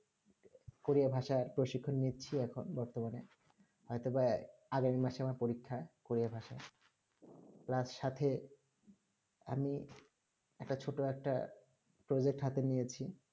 Korea ভাষা প্রশিক্ষণ নিচ্ছি এখন বর্তমানে হয়তোবা আগামী মাসে আমার পরীক্ষা কোরিয়া ভাষার plus সাথে আমি একটা ছোট একটা project হাথে নিয়েছি